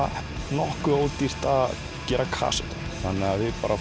nokkuð ódýrt að gera kasettur þannig að við